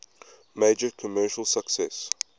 major commercial success